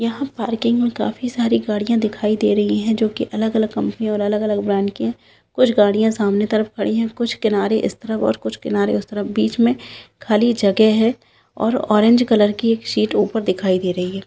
यहाँ पार्किंग में काफी सारी गाड़ियाँ दिखाई दे रही है जो की अलग-अलग कंपनी और अलग-अलग ब्रांड की है कुछ गाड़ियाँ सामने तरफ खड़ी है कुछ किनारे इस तरफ और कुछ किनारे उस तरफ बीच में खाली जगह है और ऑरेंज कलर की एक शीट ऊपर दिखाई दे रही है।